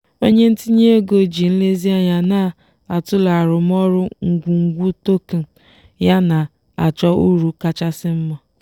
onye ntinye ego ji nlezianya na-atụle arụmọrụ ngwungwu token ya na-achọ uru kachasị mma.